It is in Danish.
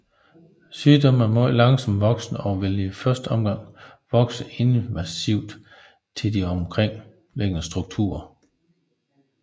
Sygdommen er meget langsomt voksende og vil i første omgang vokse invasivt til de omkringliggende strukturer